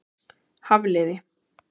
Hafliði